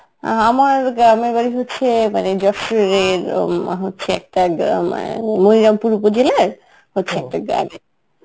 অ্যাঁ আমার গ্রামের বাড়ি হচ্ছে মানে যশোরের উম অ্যাঁ হচ্ছে একটা গ্রামে মনিরামপুর উপজেলার হচ্ছে একটা গ্রামে.